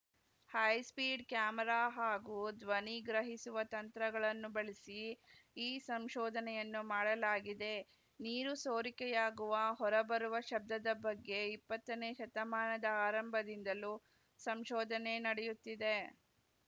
high speed camera ಹಾಗೂ ಧ್ವನಿ ಗ್ರಹಿಸುವ ತಂತ್ರಗಳನ್ನು ಬಳಸಿ ಈ ಸಂಶೋಧನೆಯನ್ನು ಮಾಡಲಾಗಿದೆ ನೀರು ಸೋರಿಕೆಯಾಗುವ ಹೊರಬರುವ ಶಬ್ದದ ಬಗ್ಗೆ ಇಪ್ಪತ್ತನೇ ಶತಮಾನದ ಆರಂಭದಿಂದಲೂ ಸಂಶೋಧನೆ ನಡೆಯುತ್ತಿದೆ